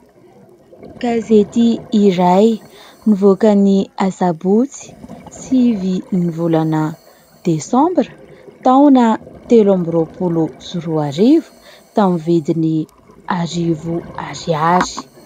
kazetỳa iray nivoaka n'i azabotsy svy ny volana desambra taona telo ambiroapolo zoroarivo tamin'ny vediny arivo ariary